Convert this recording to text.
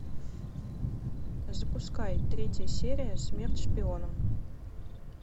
запускай третья серия смерть шпионам